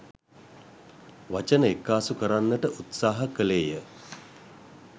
වචන එක්කාසු කරන්නට උත්සාහ කළේ ය